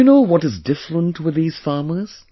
Do you know what is different with these farmers